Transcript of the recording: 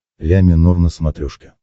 ля минор на смотрешке